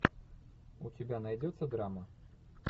у тебя найдется драма